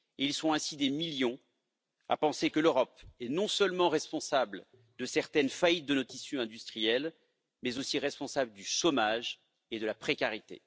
Ils sont ainsi des millions à penser que l'Europe est non seulement responsable de certaines faillites de nos tissus industriels, mais aussi responsable du chômage et de la précarité.